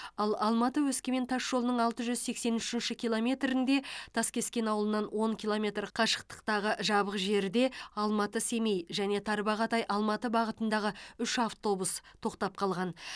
ал алматы өскемен тасжолының алты жүз сексен үшінші километрінде таскескен ауылынан он километр қашықтықтағы жабық жерде алматы семей және тарбағатай алматы бағытындағы үш автобус тоқтап қалған